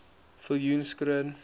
viljoenskroon